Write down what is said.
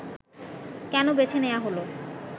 কেন বেছে নেয়া হলো